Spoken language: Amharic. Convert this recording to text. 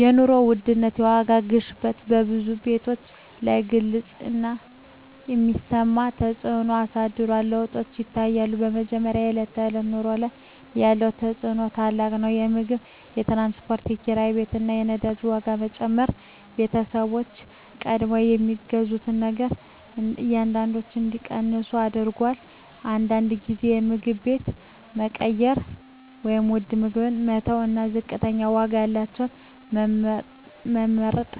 የኑሮ ውድነት (የዋጋ ግሽበት) በብዙ ቤተሰቦች ላይ ግልጽ እና የሚሰማ ተፅዕኖ አሳድሯል። ለውጦች ይታያሉ፦ በመጀመሪያ፣ በዕለት ተዕለት ኑሮ ላይ ያለው ተፅዕኖ ታላቅ ነው። የምግብ፣ የትራንስፖርት፣ የኪራይ ቤት እና የነዳጅ ዋጋ መጨመር ቤተሰቦችን ቀድሞ ከሚገዙት ነገሮች አንዳንዶቹን እንዲቀንሱ አድርጎአል። አንዳንድ ጊዜ የምግብ አይነት መቀየር (ውድ ምግቦችን መተው እና ዝቅተኛ ዋጋ ያላቸውን መመርጥ)